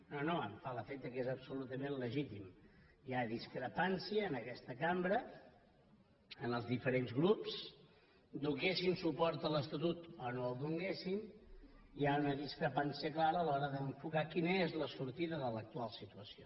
no no em fa l’efecte que és absolutament legítim hi ha discrepància en aquesta cambra en els diferents grups donessin suport a l’estatut o no l’hi donessin hi ha una discrepància clara a l’hora d’enfocar quina és la sortida de l’actual situació